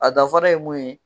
A dafara ye mun ye